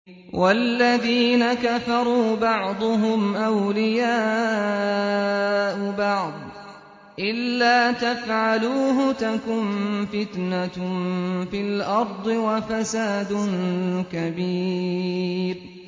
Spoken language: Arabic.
وَالَّذِينَ كَفَرُوا بَعْضُهُمْ أَوْلِيَاءُ بَعْضٍ ۚ إِلَّا تَفْعَلُوهُ تَكُن فِتْنَةٌ فِي الْأَرْضِ وَفَسَادٌ كَبِيرٌ